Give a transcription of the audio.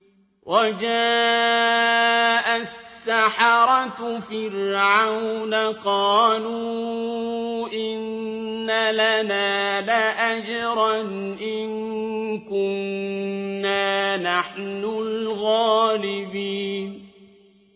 وَجَاءَ السَّحَرَةُ فِرْعَوْنَ قَالُوا إِنَّ لَنَا لَأَجْرًا إِن كُنَّا نَحْنُ الْغَالِبِينَ